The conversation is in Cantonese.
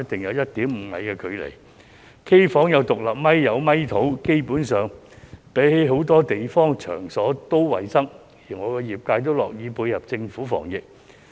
因此基本上，他們比很多其他場所也要衞生得多，業界亦樂意配合政府防疫。